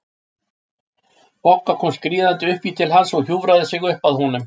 Bogga kom skríðandi upp í til hans og hjúfraði sig upp að honum.